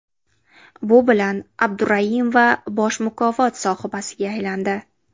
Bu bilan Abduraimova bosh mukofot sohibasiga aylandi.